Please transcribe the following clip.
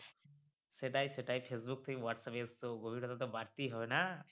সেটাই সেটাই facebook থেকে whatsapp এ এসছ তো গভীরত্বটা বাড়তেই হবে না।